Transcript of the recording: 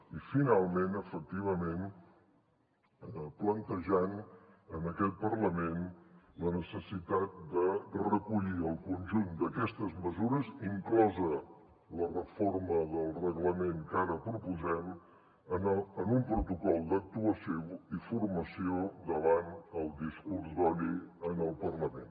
i finalment efectivament plantejant en aquest parlament la necessitat de recollir el conjunt d’aquestes mesures inclosa la reforma del reglament que ara proposem en un protocol d’actuació i formació davant el discurs d’odi en el parlament